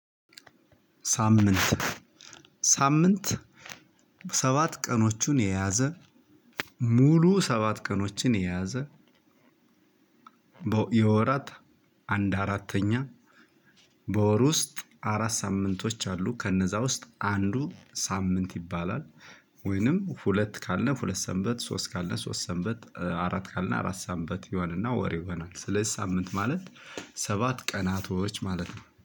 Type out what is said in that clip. ሳምንት ሳምንት ሰባት ቀኖቹን የያዘ ሙሉ ሰባት ቀኖችን የያዘ የወራት አንድ አራተኛ በወር ውስጥ አራት ሳምንቶች አሉ ከነዛ ውስጥ አንዱ ሳምንት ይባላል ወይንም ሁለት ካለ ሁለት ሰንበት ሶስት ካለ ሶስት ሰንበት አራት ካለ አራት ሰንበት ይሆናል እና ወር ይሆናል። ስለዚህ ሳምንት ማለት ሰባት ቀናቶች ማለት ነው።